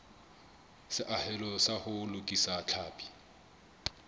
seahelo sa ho lokisa tlhapi